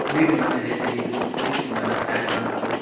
வீடுங்களா நெறைய தெரியுது வீட்டுக்கு மேல டேங்க்லாம் இருக்கு.